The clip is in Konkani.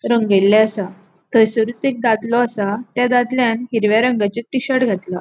रंगयले आसा थंयसरूच एक दादलों आसा त्या दादल्यान हिरव्या रंगाचे टीशर्ट घातला.